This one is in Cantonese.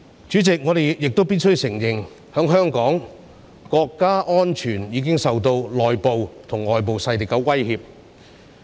主席，我們亦必須承認，在香港，國家安全已經受到內部及外部勢力的威脅。